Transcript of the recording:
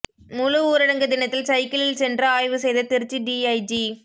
முழு ஊரடங்கு தினத்தில் சைக்கிளில் சென்று ஆய்வு செய்த திருச்சி டிஐஜி